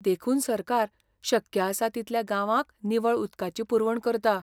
देखून सरकार शक्य आसा तितल्या गांवांक निवळ उदकाची पुरवण करता.